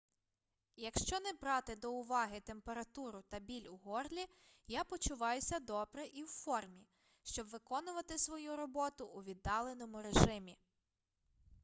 якщо не брати до уваги температуру та біль у горлі я почуваюся добре і в формі щоб виконувати свою роботу у віддаленому режимі